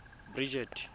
bridget